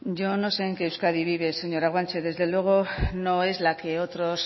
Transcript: yo no sé en qué euskadi vive señora guanche desde luego no es la que otros